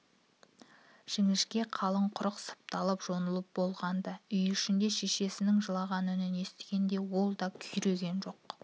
жіңішке қалың құрық сыпталып жонылып болған-ды үй ішінде шешесінің жылаған үнін естігенде ол да күйреген жоқ